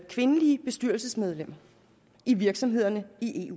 kvindelige bestyrelsesmedlemmer i virksomhederne i